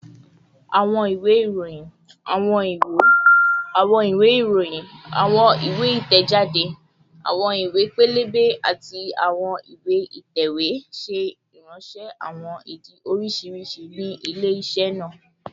Awọn iwe iroyin, awọn iwe, awọn iwe iroyin, awọn iwe itẹjade, awọn iwe pẹlẹbẹ, ati awọn iwe itẹwe ṣe iranṣẹ awọn idi oriṣiriṣi ni ile-iṣẹ naa